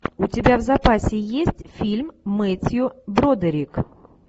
у тебя в запасе есть фильм мэттью бродерик